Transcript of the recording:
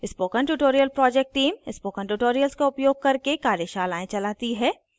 spoken tutorial project team spoken tutorials का उपयोग करके कार्यशालाएं चलाती है